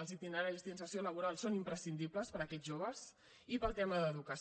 els itineraris d’inserció laboral són imprescindibles per a aquests joves i per al tema d’educació